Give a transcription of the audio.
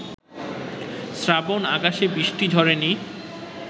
শ্রাবণ-আকাশে বৃষ্টি ঝরেনি